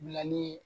Bilali